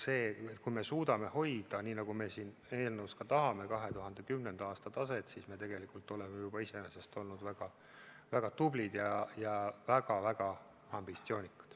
Seetõttu, kui me suudame hoida nii, nagu me siin eelnõus ka tahame, 2010. aasta taset, siis me tegelikult oleme juba iseenesest olnud väga tublid ja väga ambitsioonikad.